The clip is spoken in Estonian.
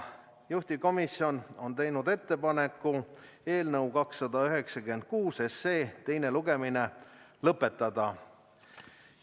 Juhtivkomisjon on teinud ettepaneku eelnõu 296 teine lugemine lõpetada.